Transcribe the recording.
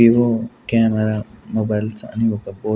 Vivo camera mobiles అని ఒక బో-- .